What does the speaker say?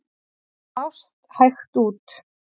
Mást hægt út.